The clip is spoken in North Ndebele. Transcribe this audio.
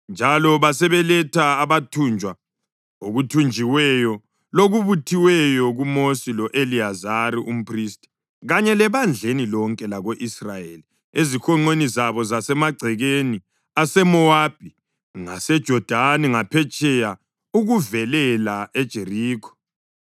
njalo basebeletha abathunjwa, okuthunjiweyo lokubuthiweyo kuMosi lo-Eliyazari umphristi kanye lebandleni lonke lako-Israyeli ezihonqweni zabo zasemagcekeni aseMowabi, ngaseJodani ngaphetsheya ukuvelela eJerikho.